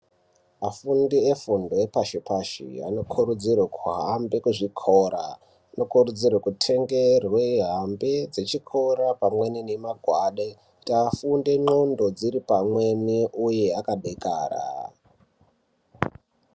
Afundi efundo yepashi pashi anokurudzirwa kuhambe kuzvikora anokurudzirwe kutengerwe hambe dzechikora pamweni nemagwade kuti afunde ndxondo dziri pamweni uye akadakara.